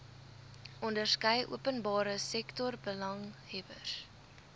onderskeie openbare sektorbelanghebbers